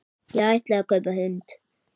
Ég ætlaði að kaupa hund.